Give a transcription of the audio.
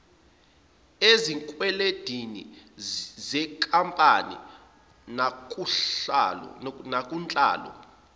ezikwelendini zenkampani nakunhlalo